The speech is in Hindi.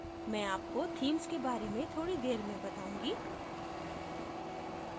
मैं आपको themes के बारे में थोडी देर में बताऊँगी